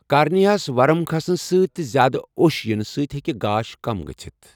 کارنیہَس ورم کھسنہٕ سۭتۍ تہٕ زیادٕ اوٚش یِنہٕ سۭتۍ ہیکہِ گاش کم گٔژھتھ ۔